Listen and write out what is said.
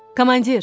Komandir!